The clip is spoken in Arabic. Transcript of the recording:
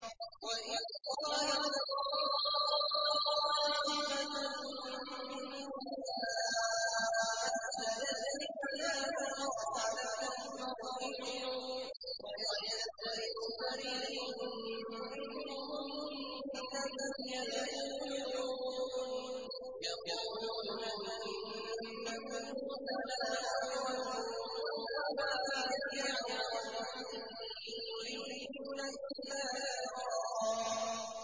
وَإِذْ قَالَت طَّائِفَةٌ مِّنْهُمْ يَا أَهْلَ يَثْرِبَ لَا مُقَامَ لَكُمْ فَارْجِعُوا ۚ وَيَسْتَأْذِنُ فَرِيقٌ مِّنْهُمُ النَّبِيَّ يَقُولُونَ إِنَّ بُيُوتَنَا عَوْرَةٌ وَمَا هِيَ بِعَوْرَةٍ ۖ إِن يُرِيدُونَ إِلَّا فِرَارًا